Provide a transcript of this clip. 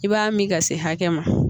I b'a min ka se hakɛ ma